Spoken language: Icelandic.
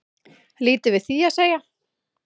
Lítið við því að segja